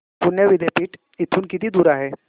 पुणे विद्यापीठ इथून किती दूर आहे